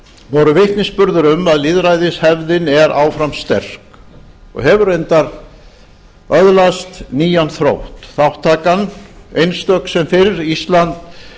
voru vitnisburður um að lýðræðishefðin er áfram sterk og hefur reyndar öðlast nýjan þrótt þátttakan einstök sem fyrr ísland